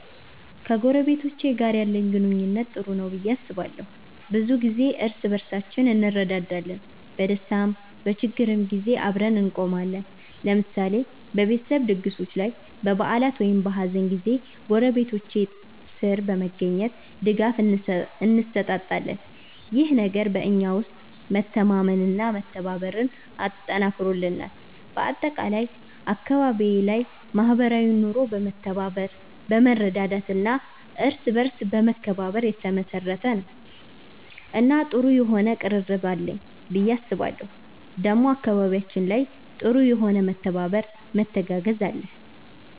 ከጎረቤቶቼ ጋር ያለኝ ግንኙነት ጥሩ ነው ብዬ አስባለሁ። ብዙ ጊዜ እርስ በርሳችን እንረዳዳለን፣ በደስታም በችግርም ጊዜ አብረን እንቆማለን። ለምሳሌ በቤተሰብ ድግሶች ላይ፣ በበዓላት ወይም በሀዘን ጊዜ ጎረቤቶቼ ጥር በመገኘት ድጋፍ እንሰጣጣለን። ይህ ነገር በእኛ ውስጥ መተማመንና መተባበርን አጠንክሮልናል። በአጠቃላይ አካባቢዬ ላይ ማህበራዊ ኑሮ በመተባበር፣ በመረዳዳት እና በእርስ በርስ መከባበር የተመሰረተ ነው እና ጥሩ የሆነ ቅርርብ አለኝ ብዬ አስባለሁ ዴሞ አካባቢያችን ላይ ጥሩ የሆነ መተባበር መተጋገዝ አለ።